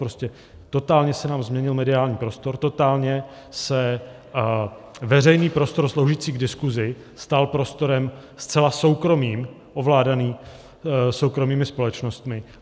Prostě totálně se nám změnil mediální prostor, totálně se veřejný prostor sloužící k diskusi stal prostorem zcela soukromým, ovládaným soukromými společnostmi.